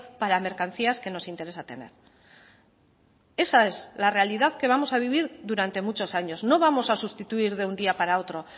para mercancías que nos interesa tener esa es la realidad que vamos a vivir durante muchos años no vamos a sustituir de un día para otro